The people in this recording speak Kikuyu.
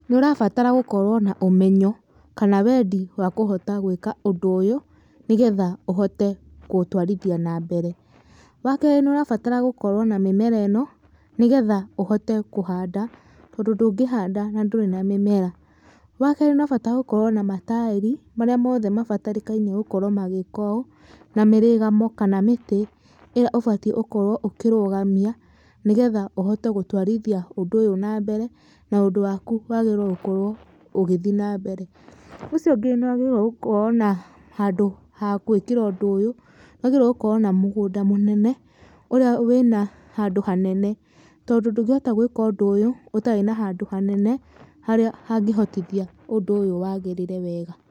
Nĩ ũrabatara gũkorwo na ũmenyo kana wendi wa kũhota gwĩka ũndũ ũyũ, nĩgetha ũhote kũũtwarithia na mbere. Wa keerĩ nĩ ũrabatara gũkorwo na mĩmera ĩno nĩgetha ũhote kũhanda tondũ ndũngĩhanda na ndũrĩ na mĩmera. Wa keerĩ nĩ ũrabatara gũkorwo na mataĩri marĩa mothe mabatarĩkaine gũkorwo magĩĩka ũũ na mĩrĩgamo kana mĩtĩ ĩrĩa ũbatiĩ ũkorwo ũkĩrũgamia nĩ getha ũhote gũtwarithia ũndũ ũyũ na mbere na ũndũ waku wagĩrĩirwo gũkorwo ũgĩthi na mbere. Ũcio ũngĩ nĩ wagĩrĩirwo gũkorwo na handũ ha gwĩkĩra ũndũ ũyũ, nĩ wagĩrĩirwo gũkorwo na mũgũnda mũnene ũrĩa wĩna handũ hanene tondũ ndũngĩhota gwĩka ũndũ ũyũ ũtarĩ na handũ hanene harĩa hangĩhotithia ũndũ ũyũ wagĩrĩre wega.